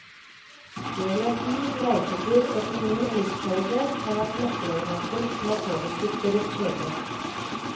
Geografi, reisetid, økonomi og livskvalitet har vært nøkkelelementer som har påvirket deres skjebner.